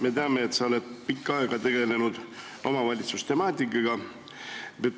Me teame, et sa oled pikka aega tegelenud omavalitsuse temaatikaga.